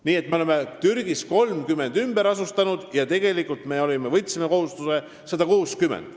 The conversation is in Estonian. Nii et me oleme ümber asustanud 30 inimest, kuid oleme võtnud kohustuse ümber asustada 160.